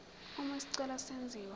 uma isicelo senziwa